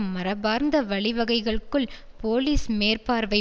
மரபார்ந்த வழிவகைகளுக்குள் போலீஸ் மேற்பார்வை